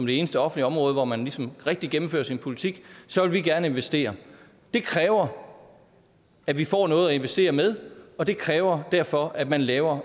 det eneste offentlig område hvor man ligesom rigtig gennemfører sin politi så vil vi gerne investere det kræver at vi får noget at investere med og det kræver derfor at man laver